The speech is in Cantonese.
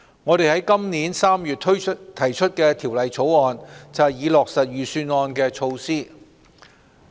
我們於今年3月提出《條例草案》，以落實財政預算案措施。